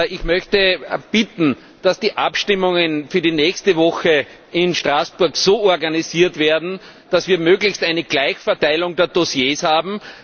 Ich möchte bitten, dass die Abstimmungen für die nächste Sitzungswoche in Straßburg so organisiert werden, dass wir möglichst eine Gleichverteilung der Dossiers haben.